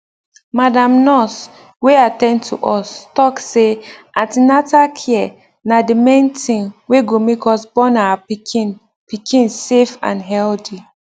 madam nurse wey at ten d to us talk say an ten atal care na the main tin wey go make us born our pikin pikin safe and healthy